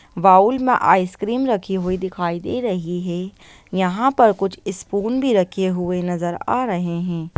Bowl में ice cream रखी हुई दिखाई दे रही है यहाँ पर कुछ स्पून भी रखे हुए नजर आ रहें हैं।